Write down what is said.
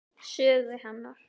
Sögu hennar.